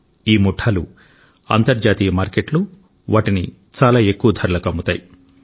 ఈ ముఠాలు అంతర్జాతీయ మార్కెట్లో వాటిని చాలా ఎక్కువ ధరలకు అమ్ముతాయి